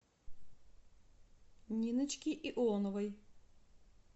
ниночки ионовой